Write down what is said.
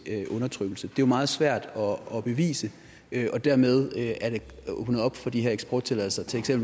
undertrykkelse det er jo meget svært at bevise og dermed er der åbnet op for de her eksporttilladelser til